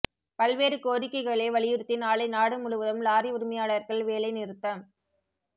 பல்வேறு கோரிக்கைகளை வலியுறுத்தி நாளை நாடு முழுவதும் லாரி உரிமையாளர்கள் வேலை நிறுத்தம்